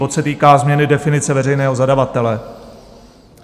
Bod se týká změny definice veřejného zadavatele.